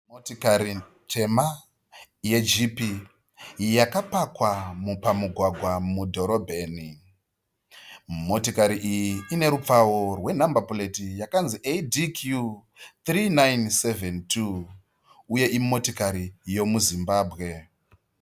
Motikari tema yeJeep yakapakwa pamugwagwa mudhorobheni. Motikari iyi inerupfawo rwenhamba pureti yakanzi "ADQ 3972" uye imotokari yemuZimbabwe.